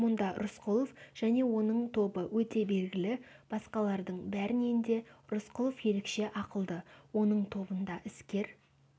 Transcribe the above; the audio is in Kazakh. мұнда рысқұлов және оның тобы өте белгілі басқалардың бәрінен де рысқұлов ерекше ақылды оның тобында іскер